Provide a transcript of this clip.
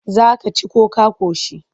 Za ka ci ko ka ƙoshi?